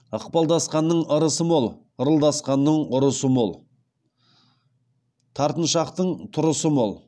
ықпалдасқанның ырысы мол ырылдасқанның ұрысы мол тартыншақтың тұрысы мол